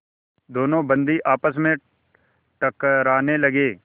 दोनों बंदी आपस में टकराने लगे